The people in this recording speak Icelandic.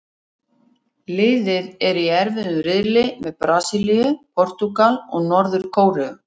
Liðið er í erfiðum riðli með Brasilíu, Portúgal og Norður-Kóreu.